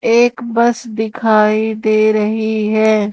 एक बस दिखाई दे रही है।